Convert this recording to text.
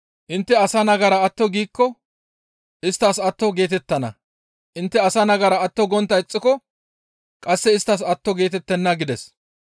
Intte asa nagara atto giikko isttas atto geetettana; intte asa nagara atto gontta ixxiko qasse isttas atto geetettenna» gides.